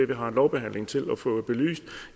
vi har lovbehandlingen til altså til at få det belyst